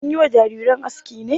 An yi wa jarirai aski ne?